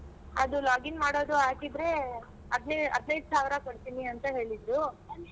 ಅದು login ಮಾಡುದು ಆಗಿದ್ರೆ ಹದ್ನೈದ್ ಹದಿನೈದು ಸಾವಿರ ಕೊಡ್ತೀನಿ ಅಂತ ಹೇಳಿದ್ರು.